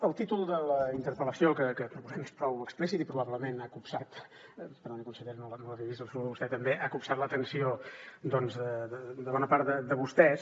el títol de la interpel·lació que proposem és prou explícit i probablement ha copsat perdoni conseller no l’havia vist el saludo a vostè també ha copsat l’atenció de bona part de vostès